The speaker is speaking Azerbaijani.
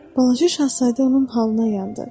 Balaca şahzadə onun halına yandı.